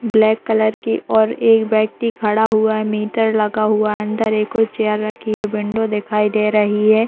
Black colour की और एक व्यक्ति खड़ा हुआ है। मीटर लगा हुआ है। अंदर एक कोई चेयर लगा है। विंडो दिखाई दे रही है।